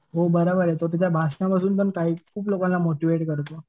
हो बराबर आहे पण शेवटी त्या भाषणापासून तो खूप लोकांना करतो.